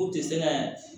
K'u tɛ se ka